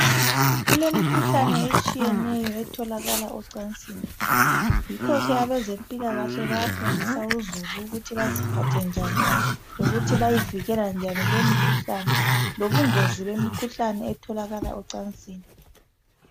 kulemikhuhlane etshiyeneyo etholakala ecansini yikho abezempilakahle bayafundisa ukuthi baziphathe njani lokuthi bayavikela lobungozi bemikhuhlane etholakala ocansini.